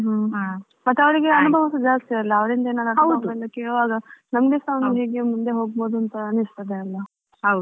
ಮತ್ತೇ ಅವರಿಗೆ ಸ ಅನುಭವ ಜಾಸ್ತಿ ಅಲ್ವಾ ಅವರಿಂದೇನೆ ಕೇವಲ ನಮ್ಗೆಸ ಒಂದು ಚೂರು ಮುಂದೆ ಹೋಗ್ಬವುದು ಅಂತ ಅನ್ನಿಸ್ತಿದೆ ಅಲ್ಲಾ.